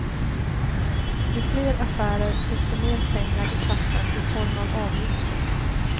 Ju fler affärer, desto mer pengar i kassan i form av avgifter.